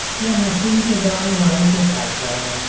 यह मशीन के द्वारा बाल को काट रहा है।